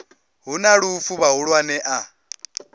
hu na lufu vhahulwane a